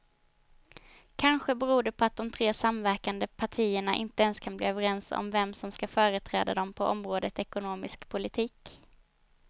Kanske beror det på att de tre samverkande partierna inte ens kan bli överens om vem som ska företräda dem på området ekonomisk politik.